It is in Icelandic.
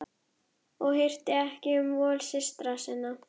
Hann bandaði höndinni í rétta átt.